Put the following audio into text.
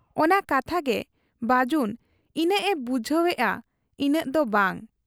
ᱚᱱᱟ ᱠᱟᱛᱷᱟ ᱜᱮ ᱵᱟᱹᱡᱩᱱ ᱤᱱᱟᱹᱜ ᱮ ᱵᱩᱡᱷᱟᱹᱣ ᱮᱜ ᱟ ᱤᱱᱟᱹᱜ ᱵᱟᱝ ᱾